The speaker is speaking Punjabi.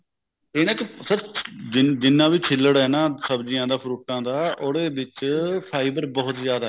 ਇਹਨਾਂ ਚ ਸਿਰਫ ਜਿੰਨਾ ਵੀ ਛੀਲੜ ਐ ਨਾ ਸਬਜੀਆ ਦਾ fruit ਆ ਦਾ ਉਹਦੇ ਵਿੱਚ fiber ਬਹੁਤ ਜਿਆਦਾ